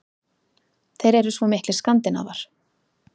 Þeir eru svo miklir Skandinavar.